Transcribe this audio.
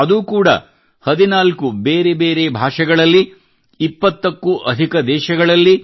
ಅದೂ ಕೂಡ 14 ಬೇರೆ ಬೇರೆ ಭಾಷೆಗಳಲ್ಲಿ 20 ಕ್ಕೂ ಅಧಿಕ ದೇಶಗಳಲ್ಲಿ